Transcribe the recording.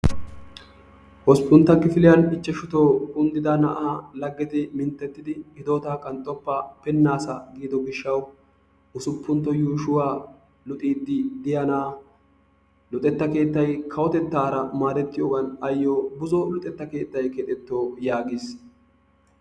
8ntta kifiliyan 5to kunddida na'aa laggeti minttettidi hidootaa qanxxoppa pinnaasa giido gishshawu 6ntta yuushuwa luxiiddi diya na'aa luxetta keettay kawotettaara maadettiyogan ayyo buzo luxetta keettay keexetto yaagiis.